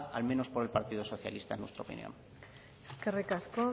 al menos por el partido socialista en nuestra opinión eskerrik asko